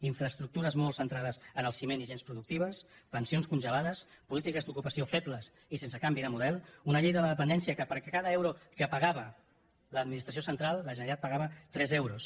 infraestructures molt centrades en el ciment i gens productives pensions congelades polítiques d’ocupació febles i sense canvi de model una llei de la dependència que per cada euro que pagava l’administració central la generalitat pagava tres euros